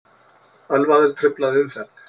Ölvaður truflaði umferð